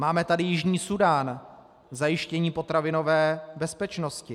Máme tady Jižní Súdán, zajištění potravinové bezpečnosti.